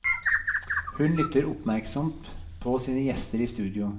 Hun lytter oppmerksomt på sine gjester i studio.